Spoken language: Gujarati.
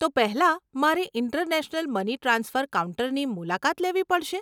તો પહેલાં મારે ઇન્ટરનેશનલ મની ટ્રાન્સફર કાઉન્ટરની મુલાકાત લેવી પડશે?